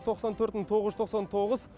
тоқсан төрт мың тоғыз жүз тоқсан тоғыз